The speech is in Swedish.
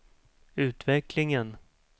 utvecklingen